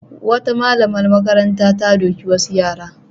Wata malamar makaranta ta doki wasu yara.